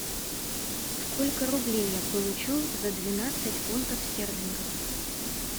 сколько рублей я получу за двенадцать фунтов стерлингов